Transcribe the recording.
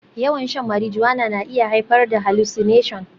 Yawan shan marijuana na iya haifar da hallucination